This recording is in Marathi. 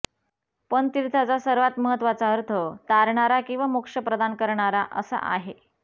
पण तीर्थाचा सर्वात महत्त्वाचा अर्थ तारणारा किंवा मोक्ष प्रदान करणारा असा आहे